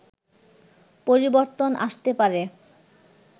পরিবর্তন আসতে পারে